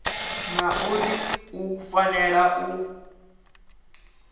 na uri u fanela u